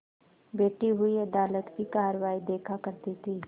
बैठी हुई अदालत की कारवाई देखा करती थी